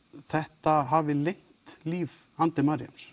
þetta hafi lengt líf